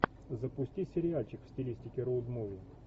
запусти сериальчик в стилистике роуд муви